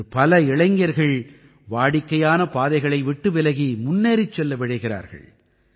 இன்று பல இளைஞர்கள் வாடிக்கையான பாதைகளை விட்டு விலகி முன்னேறிச் செல்ல விழைகிறார்கள்